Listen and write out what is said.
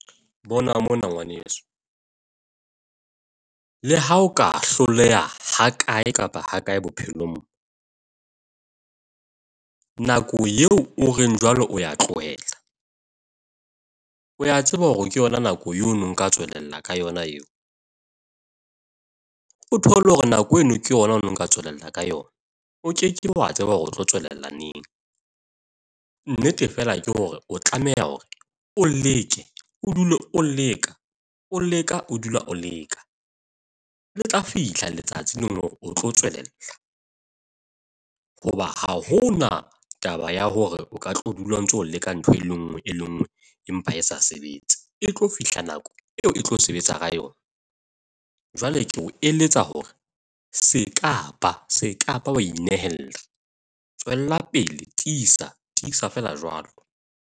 Bona mona, ngwaneso. Le ha o ka hloleha hakae kapa hakae bophelong. Nako eo o reng jwalo o ya tlohela o ya tseba hore ke yona nako eno nka tswelella ka yona eo? O thole hore nako eno ke yona nka tswelella ka yona. O kekebe wa tseba hore o tlo tswalela neng. Nnete fela ke hore o tlameha hore o leke, o dule o leka p leka, o dula o leka. Le tla fihla letsatsi leng hore o tlo tswelella hoba ha hona taba ya hore o ka tlo dula o ntso leka ntho e le nngwe e le nngwe empa e sa sebetse. E tlo fihla nako eo e tlo sebetsa ka yona, jwale ke o eletsa hore se kaba se kaba wa inehella. Tswela pele, Tiisa tiisa fela jwalo.